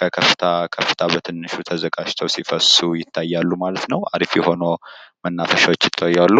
ከከፍታ ከፍታ በትንሹ ተዘጋጅተዉ ሲፈሱ ይታያሉ። አሪፍ የሆኑ መናፈሻዎች ይታያሉ።